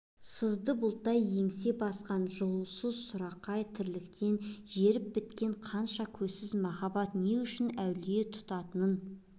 сызды бұлттай еңсе басқан жылусыз сұрқай тірліктен жеріп біткен қашан көзсіз махаббат не үшін әулие тұтатынын